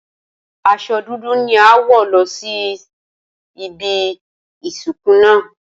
Aso̩ dudu ni a óò wò̩ lo̩ síbi ìsìnkú náà.